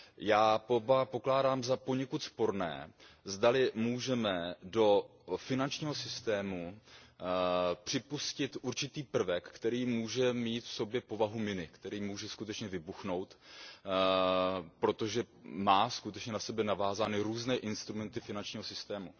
Já pokládám za poněkud sporné, zdali můžeme do finančního systému připustit určitý prvek, který může mít v sobě povahu miny, který může skutečně vybuchnout, protože má na sebe navázány různé instrumenty finančního sytému.